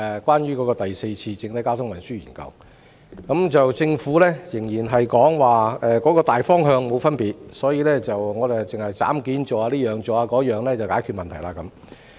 關於第四次整體運輸研究，政府仍然認為大方向沒有分別，所以只需要採取一些"斬件式"的措施，便可解決問題。